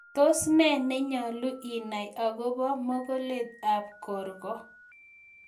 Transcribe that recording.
Tos nee nenyalu inai akobo mokolet ab korkoo